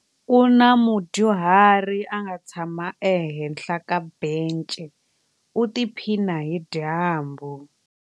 Ku na mudyuhari a nga tshama ehenhla ka bence u tiphina hi dyambu.